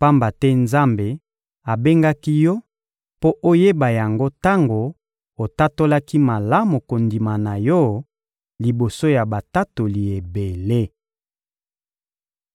pamba te Nzambe abengaki yo mpo oyeba yango tango otatolaki malamu kondima na yo liboso ya batatoli ebele.